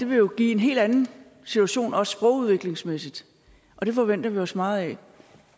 jo give en helt anden situation også sprogudviklingsmæssigt det forventer vi os meget af